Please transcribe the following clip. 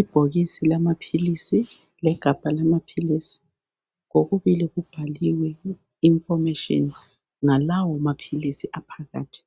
Ibhokisi lama pilisi lakhabha lama pilisi kokubili kubhaliwe information ngalawo mapilisi aphakathi